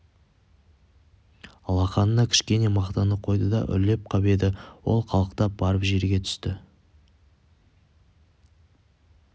алақанына кішкене мақтаны қойды да үрлеп қап еді ол қалықтап барып жерге түсті